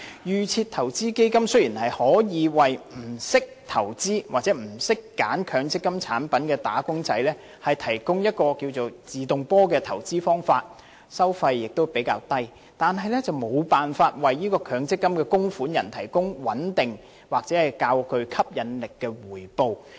預設投資基金雖然可以為不懂得投資或選擇強積金產品的"打工仔"提供所謂"自動波"的投資方法，收費亦比較低，但卻無法為強積金供款人提供穩定或較具吸引力的回報。